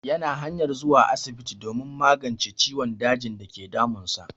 Ya na hanyar zuwa asibiti don magance ciwon dajin dake damun sa